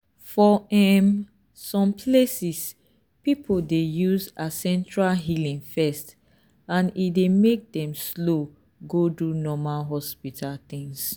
for um some places people dey use ancestral healing first and e dey make dem slow go do normal hospital things.